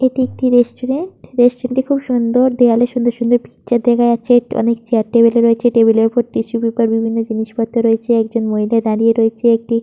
এটি একটি restaurant restaurant টি খুব সুন্দর দেওয়ালে খুব সুন্দর সুন্দর পিকচার দেখা যাচ্ছে ।অনেক চেয়ার টেবিল রয়েছে । টেবিলের ওপর টিস্যু পেপার অন্যান্য জিনিসপত্র রয়েছে ।একজন মহিলা দাঁড়িয়ে রয়েছেএকটি --